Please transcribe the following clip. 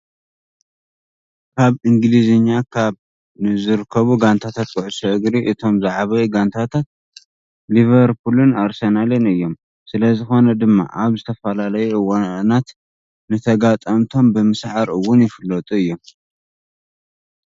ኣብ እንግሊዝ ካብ ዝርከቡ ጋንታታት ኩዕሶ እግሪ እቶም ዝዓበዩ ጋንታታት ሊቨርፑልን ኣርሰናልን እዮም። ስለዝኾነ ድማ ኣብ ዝተፈላለዩ እዋናት ንተጋጠምቶም ብምስዓር እውን ይፍለጡ።